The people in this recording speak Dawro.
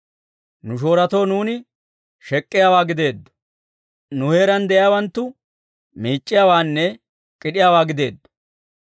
Nu shoorotoo nuuni shek'k'iyaawaa gideeddo; nu heeraan de'iyaawanttu, miic'c'iyaawaanne k'id'iyaawaa gideeddo.